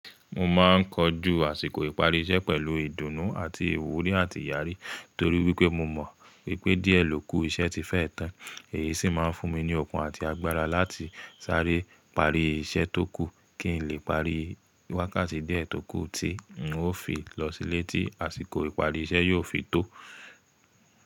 Mo máa ń kojú àsìkò ìparí iṣẹ́ pẹ̀lú ìdùnnú àti ìwúrí àti ìyárí, torí pé mo mọ̀ pé díẹ̀ ló kù iṣẹ́ ti fẹ́ tán. Èyí sì máa ń fún mi ní okùn àti agbára láti sáré parí iṣẹ́ tó kù kí ń lè parí wákàtí díẹ̀ tó kù tí n ó fi lọ sílé tí àsìkò ìparí iṣẹ́ yóò fi tó.